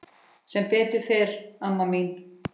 Sem betur fer amma mín.